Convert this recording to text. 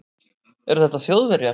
Eru þetta Þjóðverjar?